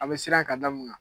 A bɛ siran ka damu kan.